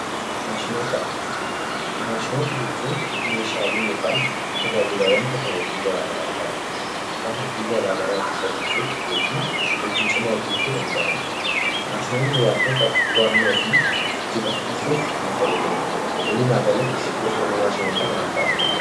Maashinoota jechuun meeshaalee yookaan tajaajilaawwan teekinooloojii garaagaraa ta'anii kan hojii garaagaraa akka salphisuuf hojii cimaa hojjachuu danda'anidha. Maashinoonni wantoota to'annoo fi jijjiirama taasisuuf nu fayyadanidha. Walumaa galatti gosoonni maashinootaa maal fa'aadha?